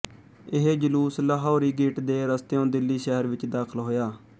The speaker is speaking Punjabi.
ਇਹ ਜਲੂਸ ਲਾਹੌਰੀ ਗੇਟ ਦੇ ਰਸਤਿਉਂ ਦਿੱਲੀ ਸ਼ਹਿਰ ਵਿੱਚ ਦਾਖ਼ਲ ਹੋਇਆ